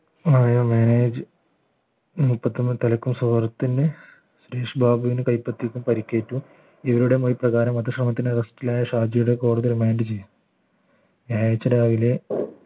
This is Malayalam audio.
മാനേജ് മുപ്പത്തൊന്ന് തലക്കും സുഹൃത്തിന് സുരേഷ് ബാബുവിന് കൈപ്പത്തിക്കും പരിക്കേറ്റും ഇവരുടെ മൊഴി പ്രകാരം വധശ്രമത്തിലെ arrest ലായ ഷാജിയെ കോടതി റിമാൻഡ് ചെയ്തു വ്യാഴാഴ്ച രാവിലെ